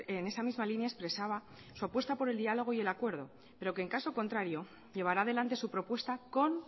en esa misma línea expresaba su apuesta por el diálogo y el acuerdo pero que en caso contrario llevará adelante su propuesta con